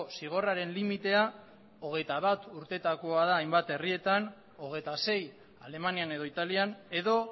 zigorraren limitea hogeita bat urtetakoa da hainbat herrietan hogeita sei alemanian edo italian edo